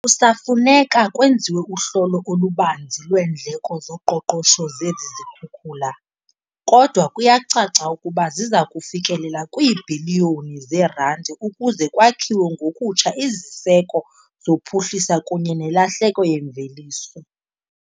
"Kusafuneka kwenziwe uhlolo olubanzi lweendleko zoqoqosho zezi zikhukula, kodwa kuyacaca ukuba ziza kufikelela kwiibhiliyoni zeerandi ukuze kwakhiwe ngokutsha iziseko zophuhliso kunye nelahleko yemveliso."